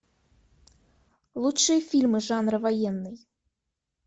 лучшие фильмы жанра военный